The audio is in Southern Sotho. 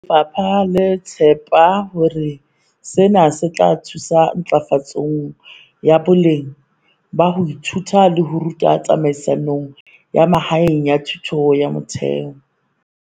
Lefapha le tshepa hore sena se tla thusa ntlafatsong ya boleng ba ho ithuta le ho ruta tsamaisong ya mahaeng ya thuto ya motheo.